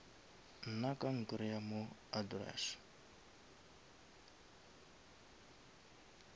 nna ka nkreya mo address